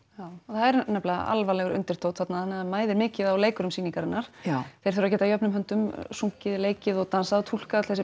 það er nefnilega alvarlegur undirtónn þarna þannig það mæðir mikið á leikurum sýningarinnar þeir þurfa að geta jöfnum höndum sungið leikið og dansað og túlkað öll þessi